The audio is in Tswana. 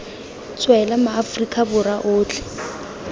tswela ma aforika borwa otlhe